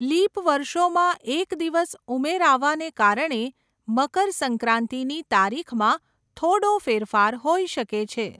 Leap વર્ષોમાં એક દિવસ ઉમેરાવાના કારણે મકર સંક્રાંતિની તારીખમાં થોડો ફેરફાર હોઈ શકે છે.